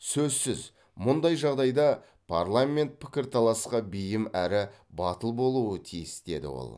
сөзсіз мұндай жағдайда парламент пікірталасқа бейім әрі батыл болуы тиіс деді ол